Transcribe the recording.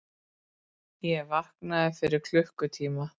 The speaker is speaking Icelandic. Ég vaknaði fyrir klukkutíma.